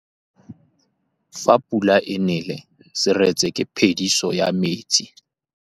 Fa pula e nelê serêtsê ke phêdisô ya metsi.